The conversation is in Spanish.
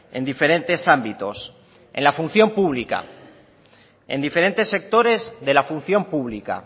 en diferentes ámbitos en la función pública en diferentes sectores de la función pública